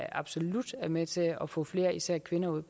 absolut er med til at få flere især kvinder ud